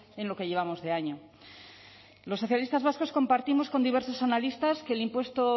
en lo que llevamos de año los socialistas vascos compartimos con diversas analistas que el impuesto